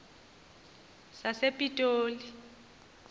sasepitoli